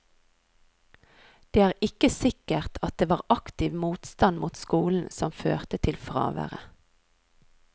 Det er ikke sikkert at det var aktiv motstand mot skolen som førte til fraværet.